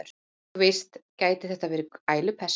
Og þú veist, gæti þetta verið ælupest?